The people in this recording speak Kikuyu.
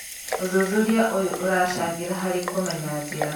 ũthuthuria ũyũ ũracangĩra harĩ kũmenya njĩra